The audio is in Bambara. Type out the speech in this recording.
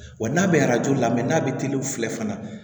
Wa n'a bɛ arajo lamɛ n'a bɛ teliyaw filɛ fana